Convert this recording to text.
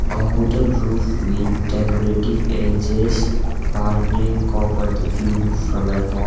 a hooden roof with decorative edges partling covered view from above.